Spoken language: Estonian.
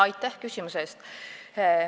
Aitäh küsimuse eest!